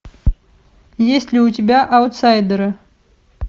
есть ли у тебя аутсайдеры